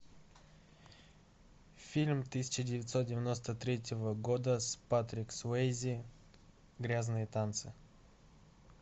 фильм тысяча девятьсот девяносто третьего года с патрик суэйзи грязные танцы